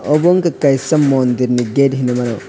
obo ungka kaisa mondir ni gate hinui mano.